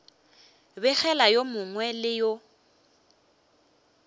begela yo mongwe le yo